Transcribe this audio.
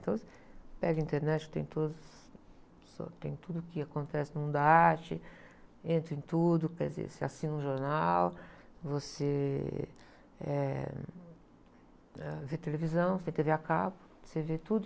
Então, você pega a internet, tem todos, tem tudo que acontece no mundo da arte, entra em tudo, quer dizer, você assina um jornal, você, eh, ãh, vê televisão, você tem tê-vê a cabo, você vê tudo.